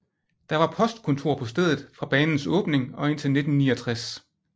Der var postkontor på stedet fra banens åbning og indtil 1969